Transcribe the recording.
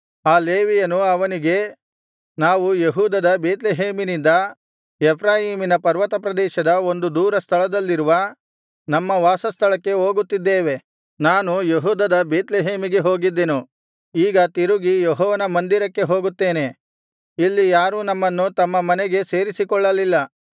ಆ ಲೇವಿಯನು ಅವನಿಗೆ ನಾವು ಯೆಹೂದದ ಬೇತ್ಲೆಹೇಮಿನಿಂದ ಎಫ್ರಾಯೀಮಿನ ಪರ್ವತಪ್ರದೇಶದ ಒಂದು ದೂರಸ್ಥಳದಲ್ಲಿರುವ ನಮ್ಮ ವಾಸಸ್ಥಳಕ್ಕೆ ಹೋಗುತ್ತಿದ್ದೇವೆ ನಾನು ಯೆಹೂದದ ಬೇತ್ಲೆಹೇಮಿಗೆ ಹೋಗಿದ್ದೆನು ಈಗ ತಿರುಗಿ ಯೆಹೋವನ ಮಂದಿರಕ್ಕೆ ಹೋಗುತ್ತೇನೆ ಇಲ್ಲಿ ಯಾರೂ ನಮ್ಮನ್ನು ತಮ್ಮ ಮನೆಗೆ ಸೇರಿಸಿಕೊಳ್ಳಲಿಲ್ಲ